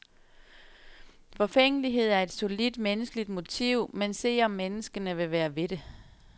Forfængelighed er et solidt menneskeligt motiv, men se, om menneskene vil være ved det.